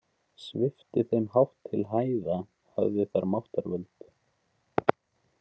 Svipti þeim hátt til hæða hafði þar máttarvöld.